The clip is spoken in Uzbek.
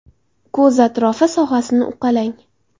Ko‘z atrofi sohasini uqalang.